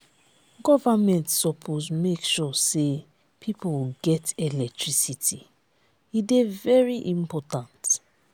government suppose make sure sey people get electricity e dey very important.